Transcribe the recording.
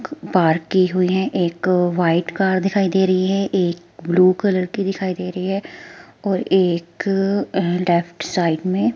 park की हुई है एक व्हाइट कार दिखाइ दे रही है एक ब्लू कलर की दिखाई दे रही है एक अं लेफ्ट साइड में --